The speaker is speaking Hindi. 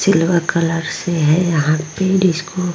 सिल्वर कलर से है यहाँ पे डिस्को ।